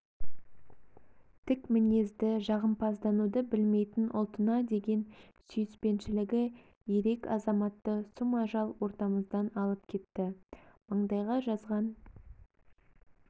тік мінезді жағымпаздануды білмейтін ұлтына деген сүйіспеншілігі ерек азаматты сұм ажал ортамыздан алып кетті маңдайға жазған